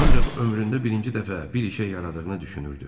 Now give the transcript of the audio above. Ancaq ömründə birinci dəfə bir işə yaradığını düşünürdü.